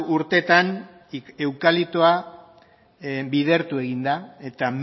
urtetan eukaliptoa bidertu egin da eta